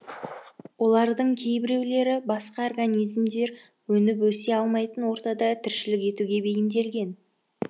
олардың кейбіреулері басқа организмдер өніп өсе алмайтын ортада тіршілік етуге бейімделген